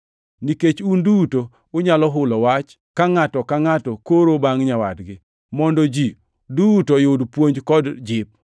Nikech un duto unyalo hulo wach, ka ngʼato ka ngʼato koro bangʼ nyawadgi, mondo ji duto oyud puonj kod jip.